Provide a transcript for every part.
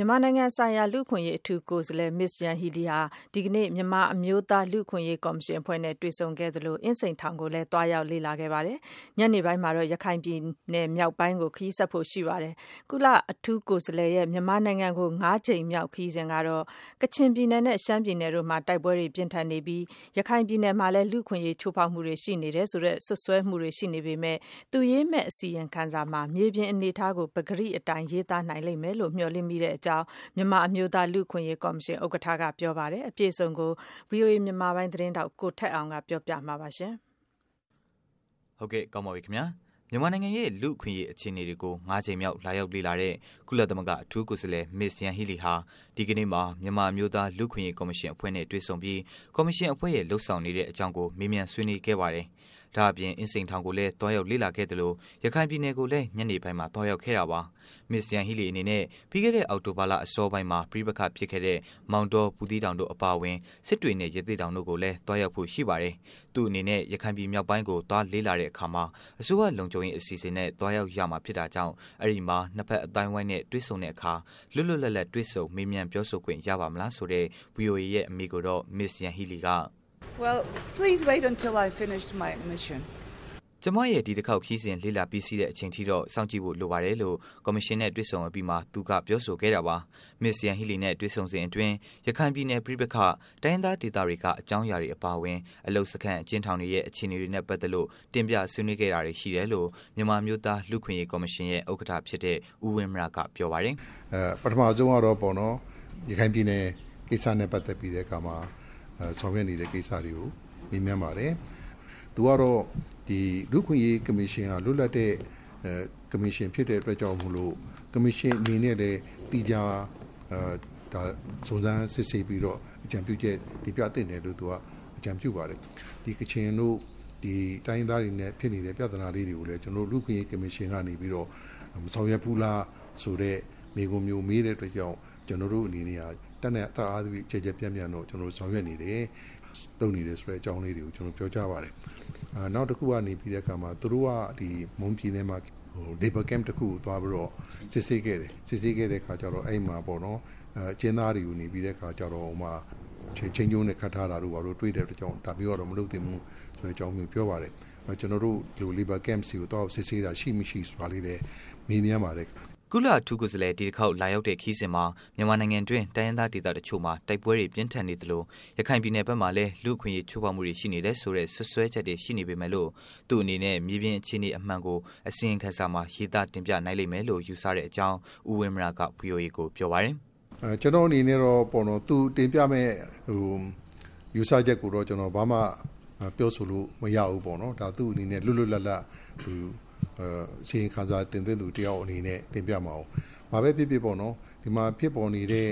မြန်မာနိုင်ငံဆိုင်ရာ လူ့အခွင့်အရေး အထူးကိုယ်စားလှယ် Ms.Yanghee Lee ဟာ ဒီကနေ့မှာတော့ မြန်မာ အမျိုးသား လူ့အခွင့်အရေးကော်မရှင်အဖွဲ့နဲ့ တွေ့ဆုံခဲ့သလို အင်းစိန်ထောင်ကိုလည်း သွားရောက်လေ့လာခဲ့ပြီး ညနေပိုင်းမှာတော့ ရခိုင်ပြည်နယ်မြောက်ပိုင်းကို ခရီးဆက်ဖို့ ရှိပါတယ်။ ကုလ အထူး ကိုယ်စားလှယ် မြန်မာနိုင်ငံကို ၅ ကြိမ်မြောက် လာရောက်လေ့လာတဲ့ အချိန်ဟာ ကချင်ပြည်နယ်နဲ့ ရှမ်းပြည်နယ်တို့မှာ တိုက်ပွဲတွေပြင်းထန်နေသလို ရခိုင်ပြည်နယ်မှာလည်း လူ့အခွင့်အရေးချိုးဖောက်မှုတွေ ရှိနေတယ်ဆိုတဲ့ စွပ်စွဲမှုတွေ ရှိနေပေမယ့်လို့ သူရေးမယ့်အစီရင်ခံစာမှာ မြေပြင်အနေအထားကို ပကတိအတိုင်း မှန်မှန်ကန်ကန် ရေးသားနိုင်လိမ့်မယ်လို့ မျှော်လင့်မိတဲ့အကြောင်း မြန်မာအမျိုးသား လူ့အခွင့်အရေးကော်မရှင် ဥက္ကဋ္ဌက ပြောဆိုလိုက်ပါတယ်။ အပြည့်အစုံကိုတော့ ဗွီအိုအေမြန်မာပိုင်း သတင်းထောက် ကိုထက်အောင်က တင်ပြပေးမှာပါ။ မြန်မာနိုင်ငံရဲ့လူ့အခွင့်အရေး အခြေအနေကို ၅ ကြိမ်မြောက် လာရောက်လေ့လာတဲ့ ကုလသမဂ္ဂ အထူးကိုယ်စားလှယ် Ms.Yanghee Lee ဟာ ဒီကနေ့မှာ မြန်မာ အမျိုးသား လူ့အခွင့်အရေး ကော်မရှင်အဖွဲ့နဲ့ တွေ့ဆုံပြီး ကော်မရှင်အဖွဲ့ ရဲ့လုပ်ဆောင်နေတဲ့ အကြောင်းတွေကို မေးမြန်းဆွေးနွေးခဲ့ပါတယ်။ ဒါ့အပြင် အင်းစိန်ထောင်ကိုလည်း သွားရောက်လေ့လာခဲ့သလို ရခိုင်ပြည်နယ်ကိုလည်း ညနေပိုင်းမှာ သွားရောက်ခဲ့တာပါ။ Ms. Yanghee Lee အနေနဲ့ ပြီးခဲ့တဲ့ အောက်တိုဘာလ အစောပိုင်းမှာ ပဋိပက္ခဖြစ်ခဲ့တဲ့ မောင်တော ဘူးသီးတောင်တို့အပါအဝင် စစ်တွေနဲ့ ရသေ့တောင်တို့ကိုလည်း သွားရောက်ဖို့ရှိပါတယ်။ သူ့အနေနဲ့ ရခိုင်ပြည်မြောက်ပိုင်းကို သွားလေ့လာတဲ့အခါမှာ အစိုးရ လုံခြုံရေး အစီအစဉ်နဲ့ သွားရောက်ရမှာ ဖြစ်တာကြောင့် အဲဒီ့မှာ နှစ်ဘက် အသိုင်းအဝိုင်းနဲ့ တွေ့ဆုံတဲ့ အခါမှာ လွတ်လွတ်လပ်လပ်တွေ့ဆုံ မေးမြန်းပြောဆိုခွင့် ရပါ့မလားဆိုတဲ့ ဗွီအိုအေရဲ့ အမေးကိုတော့ Ms.Yanghee Lee က "ကျမရဲ့ဒီတစ်ခေါက်ခရီးစဉ် လေ့လာ ပြီးစီးတဲ့အချိန်ထိတော့ စောင့်ကြည့်ဖို့လိုပါတယ်လို့ကော်မရှင်နဲ့ တွေ့ဆုံအပြီး သူက ပြောဆိုခဲ့တာပါ။ Ms.Yanghee Lee နဲ့ တွေ့ဆုံစဉ် အတွင်း ရခိုင်ပြည်နယ် ပဋိပက္ခ၊ တိုင်းရင်းသားဒေသတွေက အကြောင်းအရာတွေအပါအဝင် အလုပ်စခန်း အကျဉ်းထောင်တွေရဲ့ အခြေအနေတွေနဲ့ ပတ်သတ်လို့ တင်ပြဆွေးနွေးခဲ့တာတွေ ရှိတယ်လို့ မြန်မာအမျိုးသား လူ့အခွင့်အရေး ကော်မရှင်ရဲ့ဥက္ကဋ္ဌဖြစ်တဲ့ ဦးဝင်းမရက ပြောပါတယ်။ " ပထမဆုံးကတော့ ရခိုင်ပြည်နယ် ကိစ္စနဲ့ပတ်သက်ပြီး တဲ့အခါမှာ ဆောင်ရွက်နေတဲ့ ကိစ္စတွေကို မေးမြန်းပါတယ်။ သူကတော့ လူ့အခွင့်အရေးကော်မရှင်ဟာ လွတ်လပ်တဲ့ကော်မရှင်ဖြစ်တဲ့အတွက်ကြောင့်မို့လို့ ကေ်ာမရှင်အနေနဲ့လည်း ဒါ သီးခြား စုံစမ်းစစ်ဆေးပြီးတော့ အကြံပြုချက်သီးခြားတင်ပြသင့်တယ်လို့ သူက အကြံပြုပါတယ်။ ဒီကချင်တို့ တိုင်းရင်းသားတွေနဲ့ဖြစ်နေတဲ့ပြသနာလေးတွေကိုလည်း ကျနော်တို့ လူ့အခွင့်အရေးကေ်ာမရှင်က မဆောင်ရွက်ဘူးလား ဆိုတဲ့ မေးခွန်းမျိုး မေးတဲ့ အတွက်ကြောင့် ကျနော်တို့အနေနဲ့ တတ်အားသရွေ့ ကျယ်ကျယ်ပြန့်ပြန့်ဆောင်ရွက်နေတယ်။ လုပ်နေတဲ့ဆိုတဲ့အကြောင်းလေးတွေကို ကျနော်တို့ ပြောကြားပါတယ်။ နောက်တခုက သူတို့ မွန်ပြည်နယ်မှာ Labor Camp တခုကို သွားပြီးတော့ စစ်ဆေးခဲ့တယ်။ အဲ့ဒီ့မှာ အကျဉ်းသားတွေကို ချိန်းကြိုးနဲ့ ခတ်ထားတာ တွေ့တဲ့ အတွက်ကြောင့် ဒါမျိုးကတော့ မလုပ်သင့်ဘူးဆိုတဲ့အကြောင်း ပြောပါတယ်။ ကျနော်တို့ Labor Camps တွေကို သွားရောက်စစ်ဆေးတာ ရှိမရှိဆိုတာလေးလည်း မေးမြန်းပါတယ်။" ကုလ အထူးကိုယ်စားလှယ် ဒီတစ်ခေါက် လာရောက်တဲ့ ခရီးစဉ်မှာ မြန်မာနိုင်ငံတွင်း တိုင်းရင်းသား ဒေသတစ်ချို့မှာ တိုက်ပွဲတွေ ပြင်းထန်နေသလို ရခိုင်ပြည်နယ် ဘက်မှာလည်း လူ့အခွင့်အရေး ချို့းဖောက်မှုတွေ ရှိနေတယ်ဆိုတဲ့ စွပ်စွဲချက်တွေ ရှိနေပေမယ့်လို့ သူ့အနေနဲ့ မြေပြင်အခြေအနေ အမှန်ကို အစီရင်ခံစာမှာ ရေးသား တင်ပြနိုင်လိမ့်လို့ ယူဆတဲ့အကြောင်း ဦးဝင်းမရက ဗွီအိုအေကို ပြောပါတယ်။ " ကျနော်အနေနဲ့ကတော့ သူတင်ပြမယ့်ယူဆချက်ကိုတော့ ဘာမှ ပြောဆိုလို့မရဘူး။ သူ့အနေနဲ့ လွတ်လွတ်လပ်လပ် အစီရင်ခံစာတင်သွင်းသူတယောက်အနေနဲ့ တင်ပြမှာကိုး။ ဘာပဲဖြစ်ဖြစ်ပေါ့နော် ဒီမှာဖြစ်ပေါ်နေတဲ့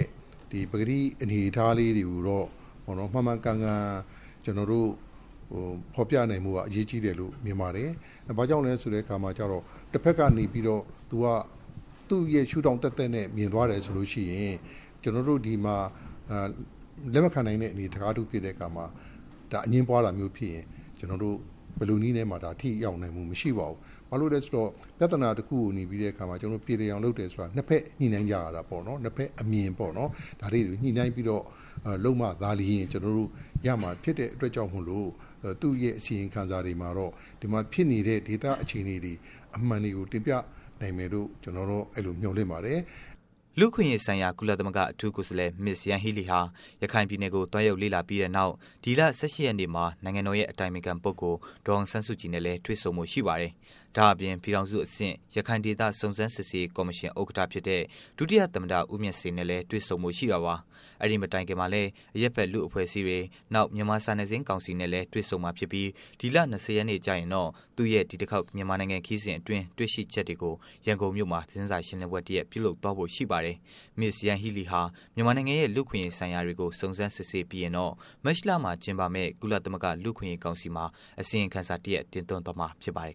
ပကတိ အနေအထားလေးတွေ ကိုတော့ မှန်မှန်ကန်ကန်ဖော်ပြနိုင်ဖို့က အရေးကြီးတယ်လို့ ထင်ပါတယ်။ ဘာကြောင့်လဲဆိုတဲ့အခါကျတော့ တဖက်ကနေပြီးတော့ သူ့ရဲ့ရှု့ထောင်သပ်သပ်နဲ့ မြင်သွားတယ်ဆိုလို့ရှိရင် ကျနော်တို့ ဒီမှာ လက်မခံနိုင်တဲ့ အနေအထားမျိုးဖြစ်တဲ့အခါ ဒါ အငြင်းပွားတာမျိုး ဖြစ်ရင် ကျနော်တို့ ဘယ်လိုနည်းနဲ့မှ ထိရောက်နိုင်မှု မရှိပါဘူး။ ဘာလို့လဲဆိုတော့ ပြသနာတခုကို ပြေလည်အောင် လုပ်တယ်ဆိုတာ နှစ်ဘက်ညှိနှိုင်းကြရတာပေါ့။ နှစ်ဘက်အမြင်ပေါ့ ဒါတွေကို ညှိနှိုင်းပြီးတော့ လုပ်မှသာလျှင် ဖြစ်မှာဖြစ်တဲ့အတွက်ကြောင့် မို့လို့ သူ့ရဲ့ အစီရင်ခံစာတွေမှာတော့ ဒီမှာဖြစ်နေတဲ့ ဒေသအခြေအနေ အမှန်တွေကို တင်ပြနိုင်မယ်လို့ ကျနော်တော့ အဲ့လို မျှော်လင့်ပါတယ်။" လူ့အခွင့်အရေးဆိုင်ရာ ကုလသမဂ္ဂ အထူးကိုယ်စားလှယ် Yanghee Lee ဟာ ရခိုင်ပြည်နယ်ကို သွားရောက်လေ့လာပြီးတဲ့နောက် ဒီလ ၁၈ ရက်နေ့မှာ နိုင်ငံတော်ရဲ့ အတိုင်ပင်ခံ ပုဂ္ဂိုလ် ဒေါ်အောင်ဆန်းစုကြည်နဲ့ တွေ့ဆုံဖို့ ရှိပါတယ်။ ဒါ့အပြင် ပြည်ထောင်စု အဆင့် ရခိုင်ဒေသ စုံစမ်းစစ်ဆေးရေး ကော်မရှင် ဥက္ကဌဖြစ်တဲ့ ဒုတိယ သမ္မတ ဦးမြင့်ဆွေနဲ့လည်း တွေ့ဆုံဖို့ ရှိတာပါ။ အဲဒီ့မတိုင်ခင်မှာလည်း အရပ်ဖက် လူ့အဖွဲ့အစည်းတွေ မြန်မာစာနယ်ဇင်းကောင်စီနဲ့ တွေ့ဆုံမှာ ဖြစ်ပြီး ဒီလ ၂၀ ရက်နေ့ကျရင်တော့ သူ့ရဲ့ဒီတစ်ခေါက် မြန်မာနိုင်ငံ ခရီးစဉ် အတွင်း တွေ့ရှိချက်တွေကို ရန်ကုန်မြို့မှာ သတင်းစာရှင်းလင်းပွဲ တစ်ရပ် ပြုလုပ်သွားဖို့ ရှိပါတယ်။ Ms.Yanghee Lee ဟာမြန်မာနိုင်ငံရဲ့ လူ့အခွင့်အရေးဆိုင်ရာတွေကို စုံစမ်းစစ်ဆေးပြီးရင်တော့ မတ်လမှာ ကျင်းပယ့် ကုလသမဂ္ဂ လူ့အခွင့်အရေး ကောင်စီမှာ အစီရင်ခံစာ တင်သွင်းသွားမှာ ဖြစ်ပါတယ်